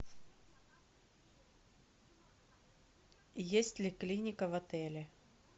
есть ли клиника в отеле